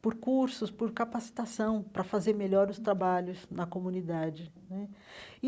por cursos, por capacitação para fazer melhor os trabalhos na comunidade né e.